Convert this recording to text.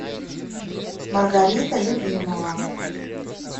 маргарита любимова